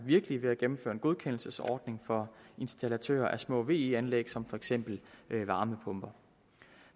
virkelige ved at indføre en godkendelsesordning for installatører af små ve anlæg som for eksempel varmepumper